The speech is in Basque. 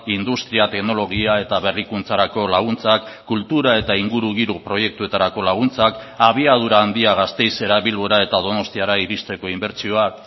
industria teknologia eta berrikuntzarako laguntzak kultura eta ingurugiro proiektuetarako laguntzak abiadura handia gasteizera bilbora eta donostiara iristeko inbertsioak